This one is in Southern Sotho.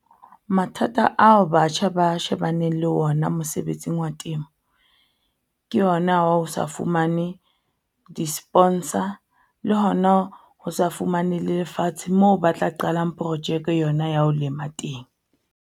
Mathata ao batjha ba shebaneng le ona mosebetsing wa temo, ke yona wa ho sa fumane di-sponsor le hona ho sa fumane lefatshe moo ba tla qalang projeke yona ya ho lema teng.